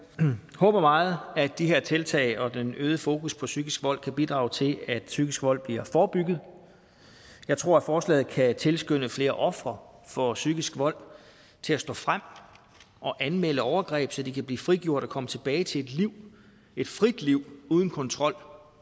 håber meget at de her tiltag og den øgede fokus på psykisk vold kan bidrage til at psykisk vold bliver forebygget jeg tror at forslaget kan tilskynde flere ofre for psykisk vold til at stå frem og anmelde overgreb så de kan blive frigjort og komme tilbage til et liv et frit liv uden kontrol